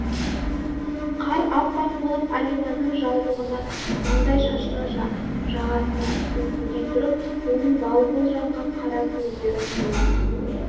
қар аппақ болып алиманның жаулығына маңдай шашына жағасына үлпілдей тұрып оның бал-бұл жанған қара көздерін нұрлана